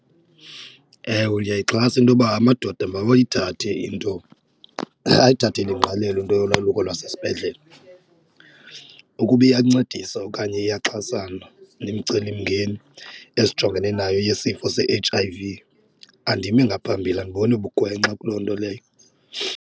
Ewe, ndiyayixhasa intoba amadoda mawayithathe into ayithathele ingqalelo into yolwaluko lwasesibhedlele, ukuba iyancedisa okanye iyaxhasana nemicelimngeni esijongene nayo yesifo se-H_I_V andimi ngaphambili andiboni bugwenxa kuloo nto leyo.